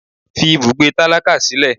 fí ibùgbé tálákà sílẹ!